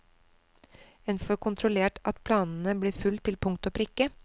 En får kontrollert at planene blir fulgt til punkt og prikke.